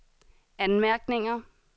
anmærkninger